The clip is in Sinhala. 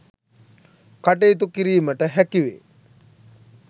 කටයුතු කිරීමට හැකි වේ.